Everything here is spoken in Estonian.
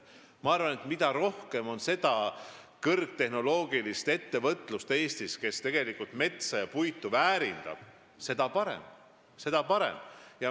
Ma arvan, et mida rohkem on kõrgtehnoloogilisi ettevõtteid Eestis, kes väärindavad metsa, sh puitu, seda parem.